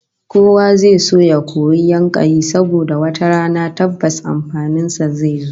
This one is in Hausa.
Kowa zai so ya koyi yankayi saboda wata rana tabbas amfanin sa zai zo